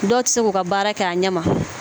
Dɔw tɛ se k'u ka baara kɛ a ɲɛ ma